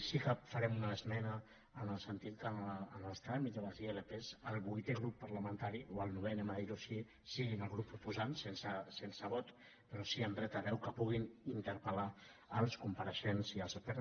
sí que farem una esmena en el sentit que en els tràmits de les ilp el vuitè grup parlamentari o el novè diguemho així siguin els grups proposants sense vot però sí amb dret a veu que puguin interpellar els compareixents i els experts